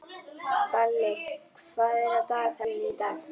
Balli, hvað er í dagatalinu í dag?